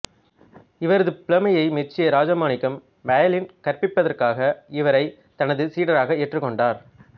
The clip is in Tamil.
இவரது புலமையை மெச்சிய ராஜமாணிக்கம் வயலின் கற்பிப்பதற்காக இவரைத் தனது சீடராக ஏற்றுக் கொண்டார்